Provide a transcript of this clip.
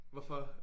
Hvorfor?